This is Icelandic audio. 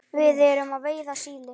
Við erum að veiða síli.